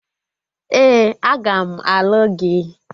Ee, aga m alụ gị